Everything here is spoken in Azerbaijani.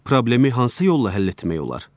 Problemi hansı yolla həll etmək olar?